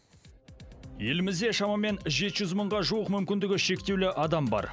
елімізде шамамен жеті жүз мыңға жуық мүмкіндігі шектеулі адам бар